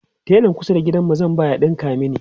telan kusa da gidanmu zan ba ya ɗinka mani